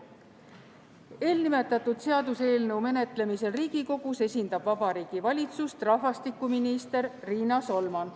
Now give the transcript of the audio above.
Riigikogus esindab seaduseelnõu menetlemisel Vabariigi Valitsust rahvastikuminister Riina Solman.